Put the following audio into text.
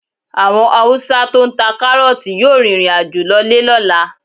Àwọn Haúsá tó ń ta kárọ́ọ̀tì yóò rìnrìn àjò lọlé lọ́la.